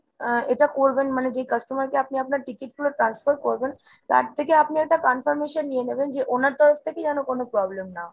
আহ এটা করবেন মানে যে customer কে আপনি আপনার ticket গুলো transfer করবেন তার থেকে আপনি একটা confirmation নিয়ে নেবেন যে ওনার তরফ থেকে যেন কোনো problem না হয়।